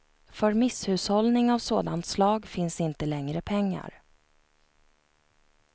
För misshushållning av sådant slag finns inte längre pengar.